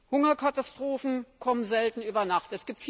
Hungerkatastrophen kommen selten über Nacht.